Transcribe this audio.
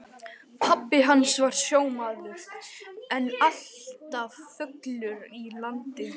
Pabbi hans var sjómaður en alltaf fullur í landi.